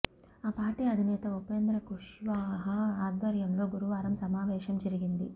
ఆ పార్టీ అధినేత ఉపేంద్ర కుష్వాహ ఆధ్వర్యంలో గురువారం సమావేశం జరిగింది